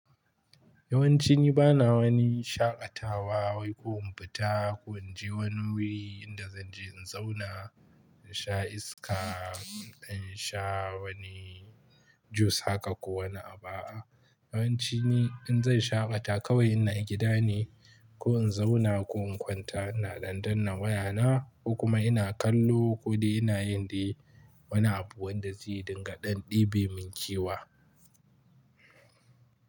Yawanci ni bana wani shaƙatawa wai ko in fita ko in je wani wuri inda zan je in zauna in sha iska, in sha wani juice haka ko wani abu a'a. Yawanci ni in zan shaƙata kawai ina gida ne ko in zauna ko in kwanta ina dan danna wayana ko kuma ina kallo ko dai ina yin dai wani abu wanda zai dinga ɗan ɗebe min kewa.